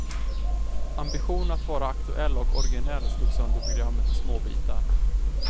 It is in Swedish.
Ambitionen att vara aktuell och originell slog sönder programmet i småbitar.